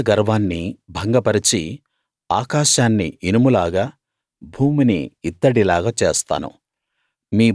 మీ బల గర్వాన్ని భంగపరచి ఆకాశాన్ని ఇనుములాగా భూమిని ఇత్తడిలాగా చేస్తాను